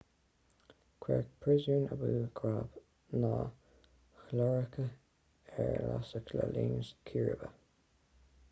cuireadh príosún abu ghraib na hiaráice ar lasadh le linn círéibe